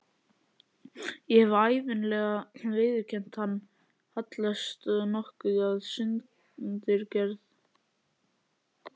Ég hef ævinlega viðurkenndi hann, hallast nokkuð að sundurgerð